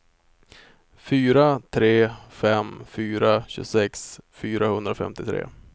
fyra tre fem fyra tjugosex fyrahundrafemtiotre